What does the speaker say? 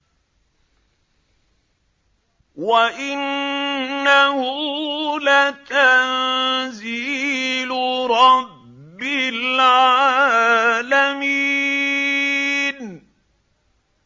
وَإِنَّهُ لَتَنزِيلُ رَبِّ الْعَالَمِينَ